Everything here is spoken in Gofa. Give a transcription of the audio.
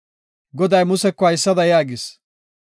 Goday Museko haysada yaagis.